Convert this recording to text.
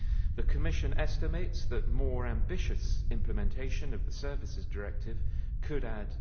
The Commission estimates that more ambitious implementation of the Services Directive could add